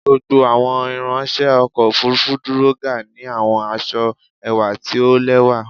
Gbogbo awọn iranṣẹ ọkọ ofurufu duro ga ni awọn aṣọ ẹwa ti o lẹwa